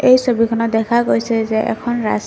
এই ছবিখনত দেখা গৈছে যে এখন ৰাস্ত--